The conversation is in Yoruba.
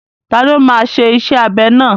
Tani ó máa ṣe iṣẹ́ abẹ náà?